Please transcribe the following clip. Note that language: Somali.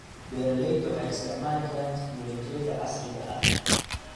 Beeraleydu waxay isticmaali karaan tignoolajiyada casriga ah.